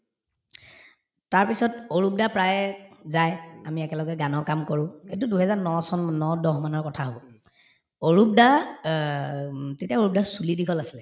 তাৰপিছত অৰূপ দা প্ৰায়ে যায় আমি একেলগে গানৰ কাম কৰো এইটো দুই হেজাৰ ন চনৰ ন দহ মানৰ কথা হব অৰূপ দা অ উম তেতিয়া অৰূপ দাৰ চুলি দীঘল আছিলে